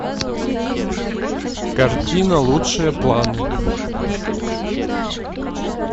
картина лучшие планы